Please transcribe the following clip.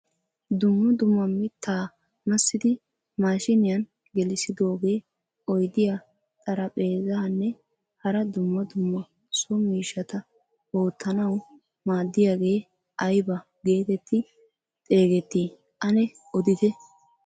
Dumma dumma mittaa massiidi mashiniyaan gelissidoogee oydiyaa, xaraphezaanne hara dumma dumma so miishshata oottanawu maaddiyagee aybaa getetti xeegettii ane odite?